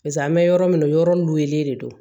Pase an bɛ yɔrɔ min na o yɔrɔ lolen de don